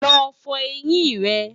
lọ fọ ẹyìn rè